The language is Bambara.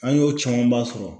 An y'o camanba sɔrɔ